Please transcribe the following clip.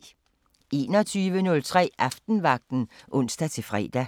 21:03: Aftenvagten (ons-fre)